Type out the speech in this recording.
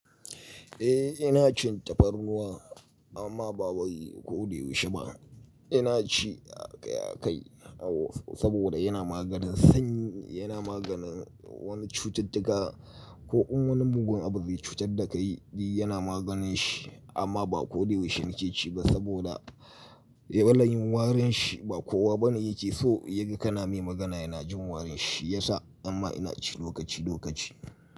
Eh ina cin tafarnuwa amma ba babba yi ko dai wuce ba. Ina ci a kai a kai saboda yana maganin sanyi, yana maganin wani cututtuka. Ko in wani mugun abu zai cutar da kai yana maganin shi amma ba kodaya wuce in ci ba saboda ya bani warin shi ba kowa bane yake so yaga kana mai magana yana jin warin shi. Yasa amma ina ci lokaci lokaci.